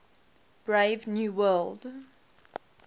brave new world